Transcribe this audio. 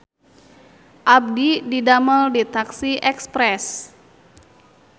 Abdi didamel di taksi Express